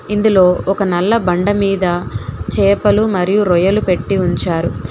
ఇందులో ఒక నల్ల బండమీద చేపలు మరియు రొయ్యలు పెట్టి ఉంచారు.